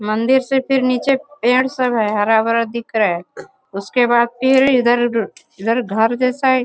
मंदिर से फिर नीचे पेड़ सब है हरा-भरा दिख रहा है। उसके बाद फिर इधर इधर घर जैसा है।